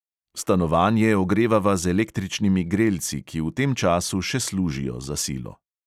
Stanovanje ogrevava z električnimi grelci, ki v tem času še služijo za silo.